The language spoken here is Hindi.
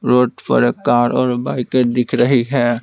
रोड पर एक कार और बाइके दिख रही है ।